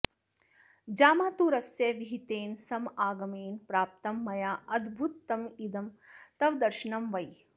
जामातुरस्य विहितेन समागमेन प्राप्तं मयाऽद्भुतमिदं तव दर्शनं वै